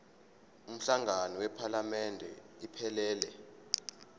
umhlangano wephalamende iphelele